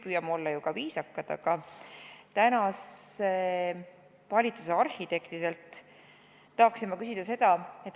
Aga tänase valitsuse arhitektidelt tahaksin ma küsida seda.